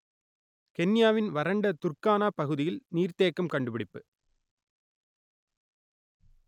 கென்யாவின் வறண்ட துர்க்கானா பகுதியில் நீர்த்தேக்கம் கண்டுபிடிப்பு